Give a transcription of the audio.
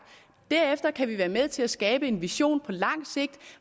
og derefter kan vi være med til at skabe en vision på lang sigt